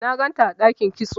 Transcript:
na ganta a dakin kitso